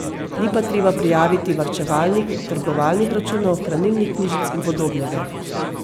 Ni pa treba prijaviti varčevalnih, trgovalnih računov, hranilnih knjižic in podobnega.